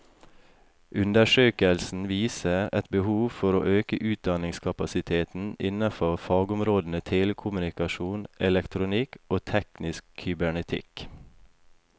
Undersøkelsen viser et behov for å øke utdanningskapasiteten innen fagområdene telekommunikasjon, elektronikk og teknisk kybernetikk.